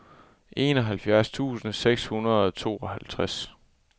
enoghalvfjerds tusind seks hundrede og tooghalvtreds